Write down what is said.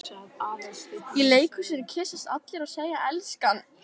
Í leikhúsinu kyssast allir og segja elskan.